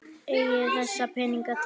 Eigið þið þessa peninga tiltæka?